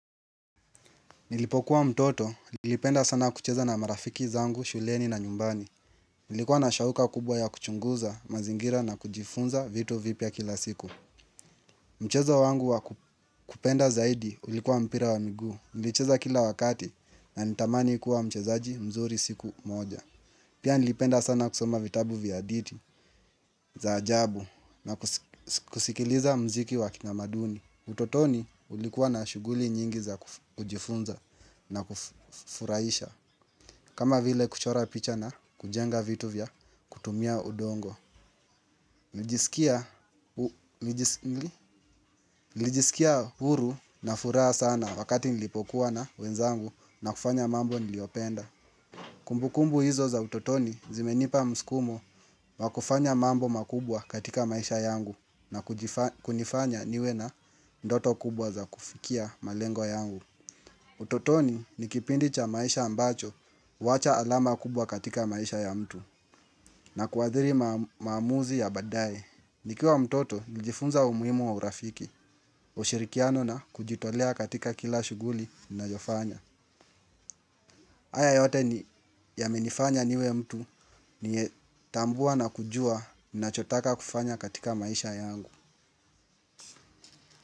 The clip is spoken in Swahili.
Nilipokuwa mtoto, nilipenda sana kucheza na marafiki zangu, shuleni na nyumbani. Ilikuwa na shauku kubwa ya kuchunguza, mazingira na kujifunza vitu vipya kila siku. Mchezo wangu wakupenda zaidi ulikuwa mpira wa miguu. nilicheza kila wakati na nitamani kuwa mchezaji mzuri siku moja. Pia nilipenda sana kusoma vitabu vya adithi za ajabu na kusikiliza mziki wa kitamaduni. Utotoni ulikuwa na shuguli nyingi za kujifunza na kufurahisha. Kama vile kuchora picha na kujenga vitu vya kutumia udongo nilijisikia huru na furaha sana wakati nilipokuwa na wenzangu na kufanya mambo niliopenda. Kumbukumbu hizo za utotoni zimenipa msukumo wakufanya mambo makubwa katika maisha yangu na kunifanya niwe na ndoto kubwa za kufikia malengo yangu. Utotoni ni kipindi cha maisha ambacho huacha alama kubwa katika maisha ya mtu na kuadhiri mamuzi ya badae. Nikiwa mtoto nilijifunza umuhimu wa urafiki, ushirikiano na kujitolea katika kila shughuli nayofanya. Haya yote ni yamenifanya niwe mtu ni tambua na kujua na chotaka kufanya katika maisha yangu.